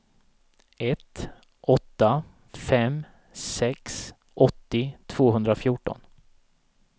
ett åtta fem sex åttio tvåhundrafjorton